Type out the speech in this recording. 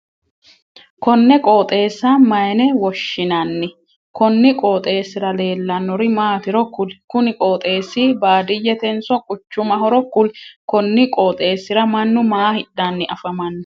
Konne qooxeessa mayinne woshinnanni? Konni qooxeesira leelanori maatiro kuli? Kunni qooxeesi baadiyetenso quchumahoro kuli? Konni qooxeesira mannu maa hidhanni afamano?